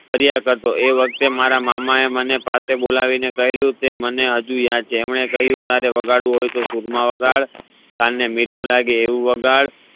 કર્યા કરતો એ વખતે મારા મામા એ મને પાસે બોલાવીને કહેલું જે મને હજી યાદ છે એમને ક્હ્યું તારે વગાડવું હોઈ તો સૂરમાં વાગડ કાં ને મીઠું લાગે એવું વાગડ